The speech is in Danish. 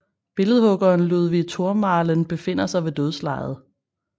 Billedhuggeren Ludwig Thormaehlen befinder sig ved dødslejet